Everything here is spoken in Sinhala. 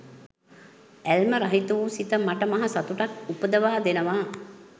ඇල්ම රහිත වූ සිත මට මහ සතුටක් උපදවා දෙනවා